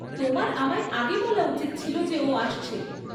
তোমার আমায় আগে বলা উচিত ছিল যে ও আসছে।